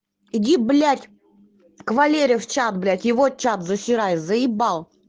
иди блять в кавалерии в чат блять его чат засирай заебал